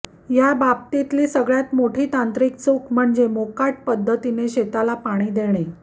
या बाबतीतली सगळ्यात मोठी तांत्रिक चूक म्हणजे मोकाट पद्धतीने शेताला पाणी देणे